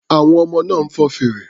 Àwọn ọmọ náà ń fọn fèrè.